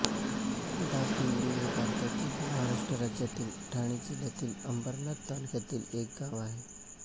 दापिवळी हे भारतातील महाराष्ट्र राज्यातील ठाणे जिल्ह्यातील अंबरनाथ तालुक्यातील एक गाव आहे